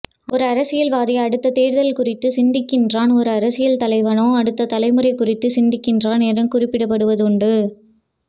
ஒரு அரசியல்வாதி அடுத்ததேர்தல் குறித்து சிந்திக்கின்றான் ஒரு அரசியல் தலைவனோ அடுத்த தலைமுறைகுறித்து சிந்திக்கின்றான் என கூறப்படுவதுண்டு